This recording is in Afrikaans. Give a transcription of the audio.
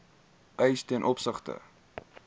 eis ten opsigte